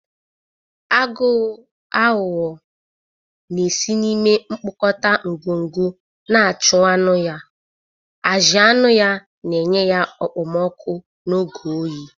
Agụ aghụghọ na-esi n'ime mkpukota ngongo na-achụ anụ ya, ajị anụ ya na enye ya okpomọkụ n'oge oyi.